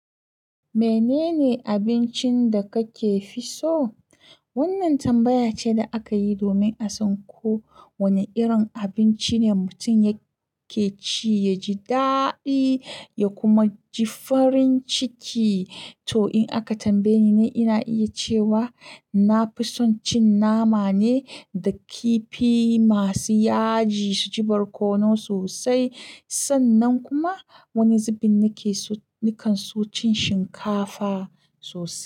Menene abincin da kake fi so? Wannan tambaya ce da aka yi domin a san ko wane irin abinci ne mutum yake ci, ya ji daɗi ya kuma ji farin ciki. To, in aka tambaye ni, ina iya cewa na fi son cin nama ne da kifi masu yaji su ji barkono sosai. Sannan kuma wani zubin nake nikan so cin shinkafa sosai.